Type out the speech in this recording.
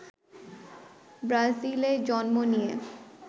ব্রাজিলে জন্ম নেয়া